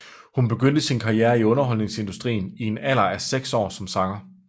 Hun begyndte sin karriere i underholdningsindustrien i en alder af seks år som sanger